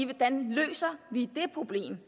hvordan løser vi det problem